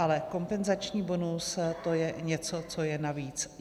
Ale kompenzační bonus, to je něco, co je navíc.